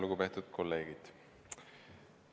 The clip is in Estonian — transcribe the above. Lugupeetud kolleegid!